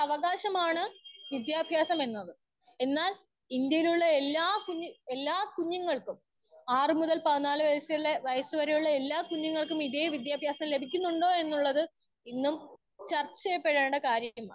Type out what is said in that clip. Speaker 1 ഒര്‌ അവകാശമാണ് വിദ്യാഭ്യാസം എന്നത്.എന്നാൽ ഇന്ത്യയിലുള്ള എല്ലാ കുഞ്ഞു കുഞ്ഞുങ്ങൾക്കും ആറ് മുതൽ ആറ് മുതൽ പതിനാറു വയസ്സ് വരെയുള്ള എല്ലാം കുഞ്ഞുങ്ങൾക്കും ഇതെ വിദ്യഭ്യാസം ലഭിക്കുന്നുണ്ടോ എന്നുള്ളത് ഇന്നും ചർച്ച ചെയ്യപ്പെടേണ്ട കാര്യമാണ്.